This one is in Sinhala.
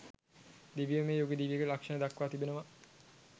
දිව්‍යමය යුග දිවියක ලක්‍ෂණ දක්වා තිබෙනවා